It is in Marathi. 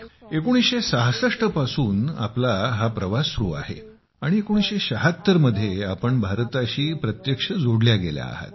1966 पासून तुमचा हा प्रवास सुरू आहे आणि 1976 मध्ये तुम्ही भारताशी प्रत्यक्ष जोडल्या गेल्या आहात